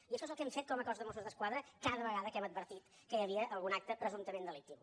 i això és el que hem fet com a cos de mossos d’esquadra cada vegada que hem advertit que hi havia algun acte presumptament delictiu